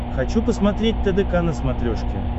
хочу посмотреть тдк на смотрешке